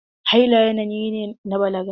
Haila yanayi ne na balaga.